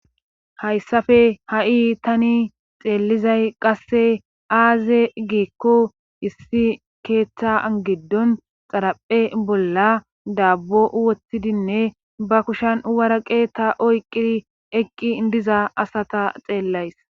hayssafe ha7i tani xeellizay qasse aaze giikko issi keeththangiddon xaraphe bolla daabbo wottidinne ba kushan uwara qeetta oyqqiri eqqi diza asata xeellays